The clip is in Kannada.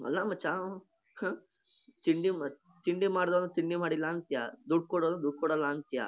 ಅಲ್ಲ ಮಚ್ಚಾ ಆಹ್ಹ್ ತಿಂಡಿ ಮಾ ತಿಂಡಿ ಮಾಡಿದ್ಯಾ ಅಂದ್ರೆ ತಿಂಡಿ ಮಾಡಿಲ್ಲಾ ಅಂತಿಯ ದುಡ್ ಕೊಡು ಅಂದ್ರೆ ದುಡ್ ಕೊಡಲ್ಲಾ ಅಂತಿಯ.